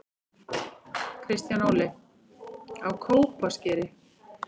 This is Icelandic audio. Kristján Óli: Á Kópaskeri